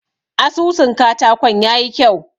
Asusun katakon ya yi kyau.